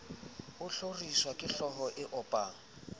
a hloriswa kehlooho e opang